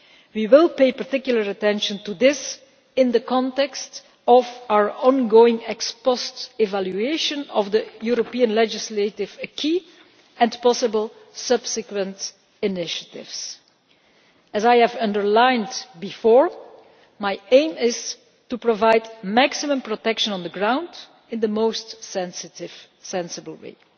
We will pay particular attention to this in the context of our ongoing ex post evaluation of the European legislative acquis and possible subsequent initiatives. As I have underlined before, my aim is to provide maximum protection on the ground in the most sensitive and sensible way.